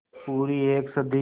पूरी एक सदी